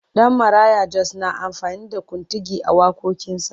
Danmaraya Jos na amfani da kuntigi a waƙoƙinsa.